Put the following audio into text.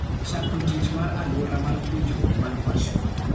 Chako tich mar aluora mar puonjruok mar virtual.